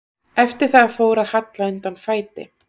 Eftir það fór að halla undan fæti.